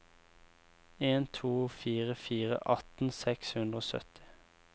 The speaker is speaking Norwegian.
en to fire fire atten seks hundre og sytti